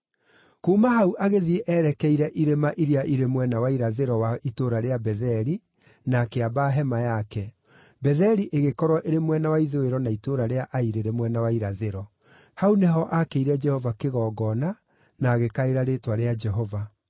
Kuuma hau agĩthiĩ erekeire irĩma iria irĩ mwena wa irathĩro wa itũũra rĩa Betheli, na akĩamba hema yake, Betheli ĩgĩkorwo ĩrĩ mwena wa ithũĩro na itũũra rĩa Ai rĩrĩ mwena wa irathĩro. Hau nĩho aakĩire Jehova kĩgongona na agĩkaĩra rĩĩtwa rĩa Jehova.